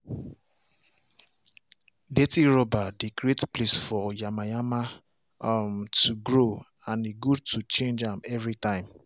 dirty rubber they create place for yamayama um to grow and e good to change am every time